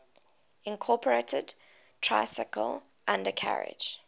incorporated tricycle undercarriage